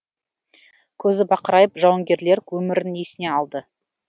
көзі бақырайып жауынгерлер өмірін есіне алды